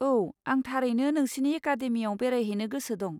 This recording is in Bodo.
औ, आं थारैनो नोंसिनि एकादेमियाव बेरायहैनो गोसो दं।